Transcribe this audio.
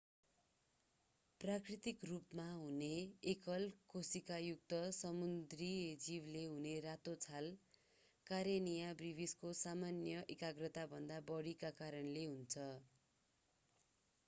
प्राकृतिक रूपमा हुने एकल कोशिकायुक्त समुद्री जीवले हुने रातो छाल कारेनिया ब्रिभिसको सामान्य एकाग्रताभन्दा बढीको कारणले हुन्छ